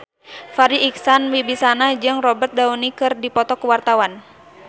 Farri Icksan Wibisana jeung Robert Downey keur dipoto ku wartawan